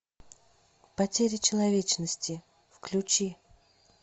потеря человечности включи